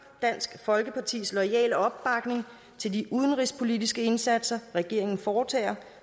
dansk folkepartis loyale opbakning til de udenrigspolitiske indsatser regeringen foretager og